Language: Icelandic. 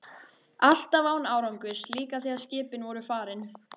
Alltaf án árangurs, líka þegar skipin voru farin.